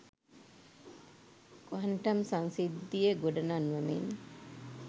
quantum සංසිද්ධිය ගොඩනංවමින්